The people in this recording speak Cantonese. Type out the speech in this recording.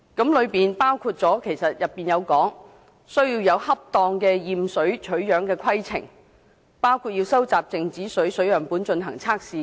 當中的建設包括：訂立恰當的驗水取樣規程，以及收集靜止水樣本進行測試等。